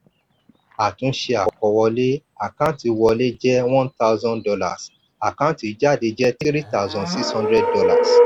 àtúnṣe àkọwọlé: àkántì wọlé jẹ one thousand dollars àkántì jáde jẹ three thousand six hundred dollars